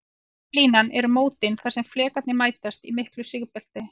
Rauða línan eru mótin þar sem flekarnir mætast, í miklu sigbelti.